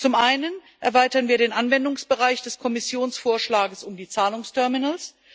Zum einen erweitern wir den Anwendungsbereich des Kommissionsvorschlags um die Zahlungsterminals.